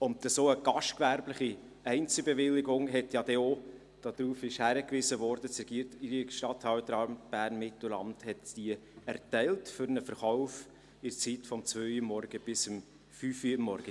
Eine solche gastgewerbliche Einzelbewilligung hat ja dann auch – darauf wurde hingewiesen – das Regierungsstatthalteramt Bern-Mittelland für einen Verkauf während der Zeit von 2.00–5.00 Uhr erteilt.